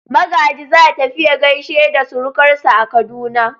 Magaji za tafi ya gaishe da surukansa a Kaduna.